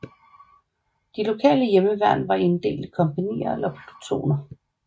De lokale hjemmeværn var inddelt i kompagnier eller plutoner